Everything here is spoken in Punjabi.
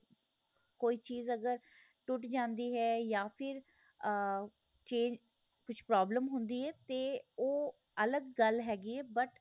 ਕੋਈ ਚੀਜ ਅਗਰ ਟੁੱਟ ਜਾਂਦੀ ਏ ਜਾਂ ਫ਼ਿਰ ਆਹ change ਕੁੱਛ problem ਹੁੰਦੀ ਏ ਤੇ ਉਹ ਅਲੱਗ ਗੱਲ ਹੈਗੀ ਏ but